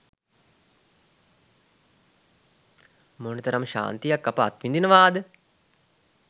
මොනතරම් ශාන්තියක් අප අත්විඳිනවාද?